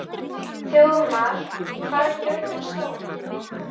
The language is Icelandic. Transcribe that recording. Þjóðmar, hvað er jörðin stór?